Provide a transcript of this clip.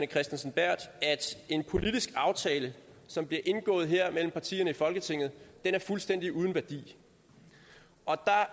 kristensen berth at en politisk aftale som bliver indgået mellem partierne i folketinget er fuldstændig uden værdi og